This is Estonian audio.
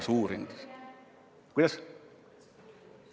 Kuidas?